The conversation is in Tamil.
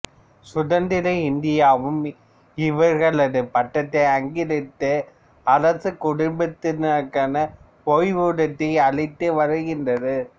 சுதந்திர இந்தியாவும் இவர்களது பட்டத்தை அங்கீகரித்து அரச குடும்பத்தினருக்கான ஓய்வூதியத்தை அளித்து வருகின்றது